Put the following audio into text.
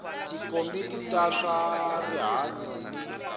tikomiti ta swa rihanyu ni